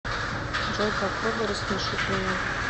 джой попробуй рассмешить меня